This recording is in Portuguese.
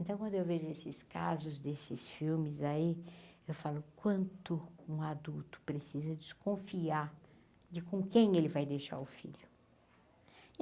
Então quando eu vejo esses casos, desses filmes aí, eu falo quanto um adulto precisa desconfiar de com quem ele vai deixar o filho.